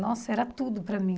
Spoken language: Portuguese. Nossa, era tudo para mim.